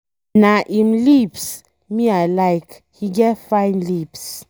Na im lips me I like. He get fine lips.